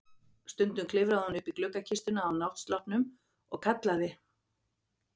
Stundum klifraði hún upp í gluggakistuna á náttsloppnum og kallaði